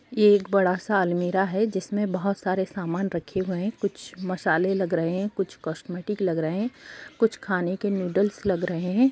ये एक बड़ा-सा अलमीरा है जिसमे बहोत सारे सामन रखे हुए हैं कुछ मसाले लग रहे हैं कुछ कॉस्मेटिक लग रहे हैं कुछ खाने के नूडल्स लग रहे हैं।